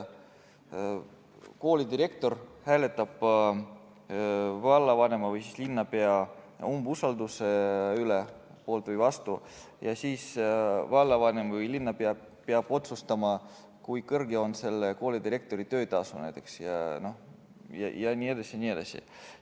Koolidirektor hääletab vallavanema või linnapea umbusaldamise poolt või vastu ja siis vallavanem või linnapea peab otsustama, kui kõrge on selle koolidirektori töötasu jne.